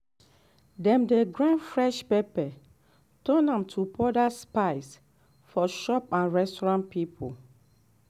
dem dey grind fresh pepper turn am to powder spice for shop and restaurant people